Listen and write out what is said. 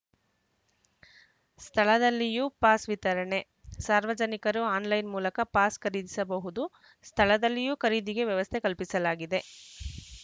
ಸ್ಥಳದಲ್ಲಿಯೂ pass ವಿತರಣೆ ಸಾರ್ವಜನಿಕರು online ಮೂಲಕ ಪಾಸ್‌ ಖರೀದಿಸಬಹುದು ಸ್ಥಳದಲ್ಲಿಯೂ ಖರೀದಿಗೆ ವ್ಯವಸ್ಥೆ ಕಲ್ಪಿಸಲಾಗಿದೆ ಶ್